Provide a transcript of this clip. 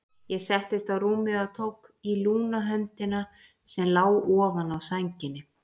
Ég settist á rúmið og tók í lúna höndina sem lá ofan á sænginni.